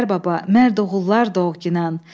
Mərd oğullar doğginan.